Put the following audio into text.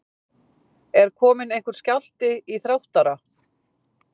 Er kominn einhver skjálfti í Þróttara?